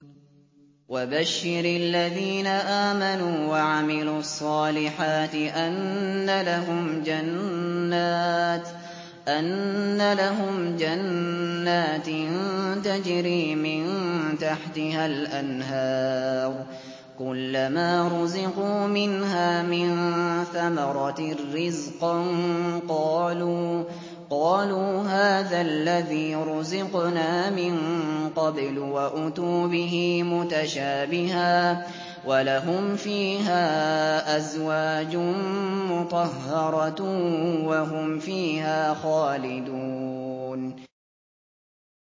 وَبَشِّرِ الَّذِينَ آمَنُوا وَعَمِلُوا الصَّالِحَاتِ أَنَّ لَهُمْ جَنَّاتٍ تَجْرِي مِن تَحْتِهَا الْأَنْهَارُ ۖ كُلَّمَا رُزِقُوا مِنْهَا مِن ثَمَرَةٍ رِّزْقًا ۙ قَالُوا هَٰذَا الَّذِي رُزِقْنَا مِن قَبْلُ ۖ وَأُتُوا بِهِ مُتَشَابِهًا ۖ وَلَهُمْ فِيهَا أَزْوَاجٌ مُّطَهَّرَةٌ ۖ وَهُمْ فِيهَا خَالِدُونَ